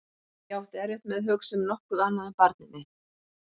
Ég átti erfitt með að hugsa um nokkuð annað en barnið mitt.